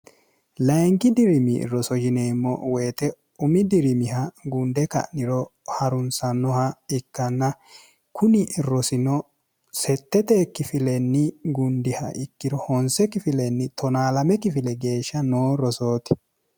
layingi dirimi roso jineemmo woyite umi dirimiha gunde ka'niro harunsannoha ikkanna kuni rosino sette teekkifilenni gundiha ikkiro honsekkifilenni 1o 2 kifile geeshsha noo rosooti